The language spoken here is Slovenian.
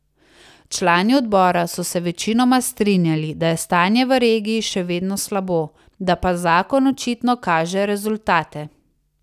Člani odbora so se večinoma strinjali, da je stanje v regiji še vedno slabo, da pa zakon očitno kaže rezultate.